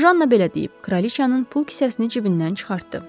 Janna belə deyib, Kraliçanın pul kisəsini cibindən çıxartdı.